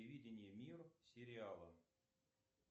телевидение мир сериала